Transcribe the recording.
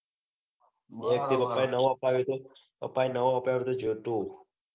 પાપા એ નવો આપયો તો પાપા એ નવો આપયો. તો જે તું